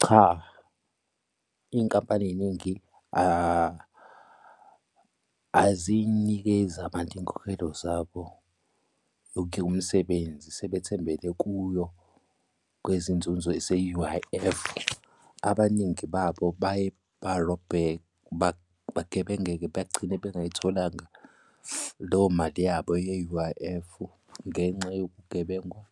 Cha, iy'nkampani ey'ningi aziyinikezi abantu iy'nkokhelo zabo yokuyeka umsebenzi sebethembele kuyo kwezinzuzo ze-U_I_F. Abaningi babo baye barobheke bagebengeke bagcine bengayitholanga leyo mali yabo ye-U_I_F-u ngenxa yokugebengwa